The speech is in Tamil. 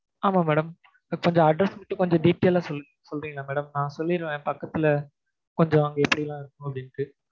ஆமா madam கொஞ்சம் address மட்டும் detail ஆ சொல்றீங்களா madam? நான் சொல்லிருவேன் என் பக்கத்துல கொஞ்சம் அங்க எப்டில்லா இருக்குனு அப்டிட்டு